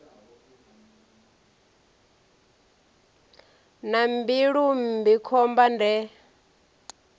na mbilu mmbi khomba de